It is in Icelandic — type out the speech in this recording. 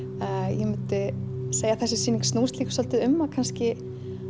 ég myndi segja að þessi sýning snúist líka svolítið um kannski